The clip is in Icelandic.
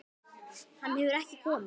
Hann hefur ekki komið.